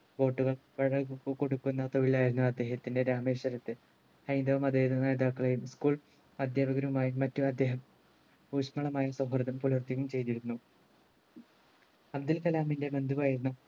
boat കൾ കൊടുക്കുന്ന തൊഴിലായിരുന്നു അദ്ദേഹത്തിന്റെ രാമേശ്വരത്ത് ഹൈന്തവ മത വിഭാഗ നേതാക്കളെയും school അധ്യാപകരുമായും മറ്റും അദ്ദേഹം ഊഷ്മളമായ സൗഹൃദം പുലർത്തിയും ചെയ്തിരുന്നു അബ്ദുൽകലാമിന്റെ ബന്ധുവായിരുന്ന